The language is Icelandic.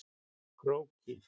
Króki